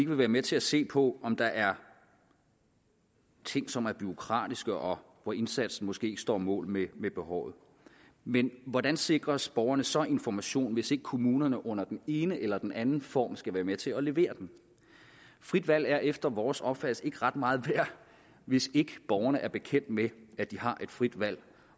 vil være med til at se på om der er ting som er bureaukratiske og hvor indsatsen måske ikke står mål med behovet men hvordan sikres borgerne så information hvis ikke kommunerne under den ene eller den anden form skal være med til at levere den frit valg er efter vores opfattelse ikke ret meget værd hvis ikke borgerne er bekendt med at de har et frit valg